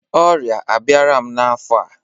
Ọrịa abịara m n'afọ a